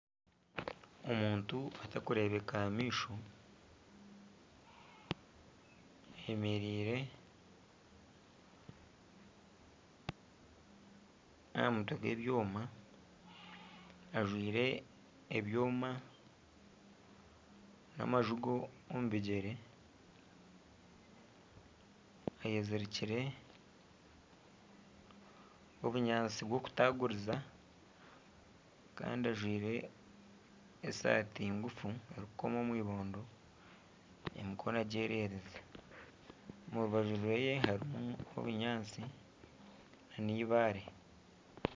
Omuntu atarikureebeka aha maisho ayemereire aha mutwe gw'ebyoma ajwaire ebyoma nana amazigo omu bigyere ayezirikiire obunyaatsi bwokutaguriza, kandi ajwaire esaati ngufu erikukoma omu ibondo emikono agyererize omu rubaju rwe hariho obunyaatsi nana eibaare .